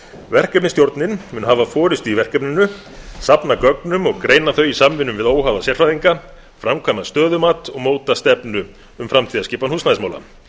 verkefnisstjórnin mun hafa forustu í verkefninu safna gögnum og greina þau í samvinnu við óháða sérfræðinga framkvæma stöðumat og móta stefnu um framtíðarskipan húsnæðismála